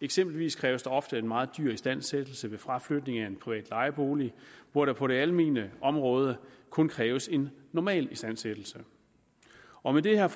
eksempelvis kræves der ofte en meget dyr istandsættelse ved fraflytning af en privat lejebolig hvor der på det almene område kun kræves en normalistandsættelse og med det her